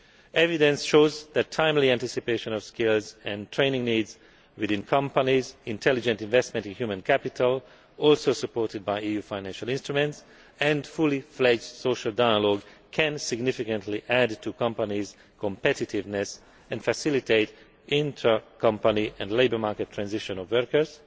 Evidence shows that timely anticipation of skills and training needs within companies, intelligent investment in human capital also supported by EU financial instruments and fully fledged social dialogue can significantly add to companies' competitiveness and facilitate intra company and labour market transition of workers,